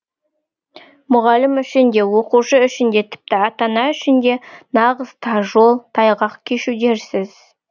мұғалім үшін де оқушы үшін де тіпті ата ана үшін де нағыз тар жол тайғақ кешу дерсіз